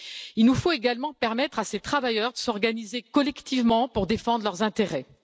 Il nous faut également permettre à ces travailleurs de s'organiser collectivement pour défendre leurs intérêts.